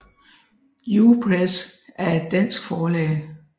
U Press er et dansk forlag